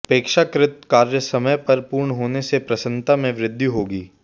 अपेक्षाकृत कार्य समय पर पूर्ण होने से प्रसन्नता में वृद्धि होगी